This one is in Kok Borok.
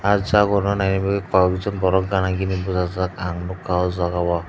ah jagurno naina bagui koi ek jon borok gana gini bwchajak ang nukha oh jaga o.